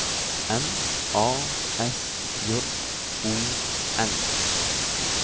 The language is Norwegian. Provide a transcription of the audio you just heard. N A S J O N